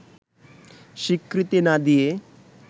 স্বীকৃতি না দিয়ে